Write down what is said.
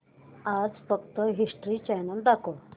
आज फक्त history channel दाखव